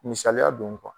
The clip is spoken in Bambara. Misaliya don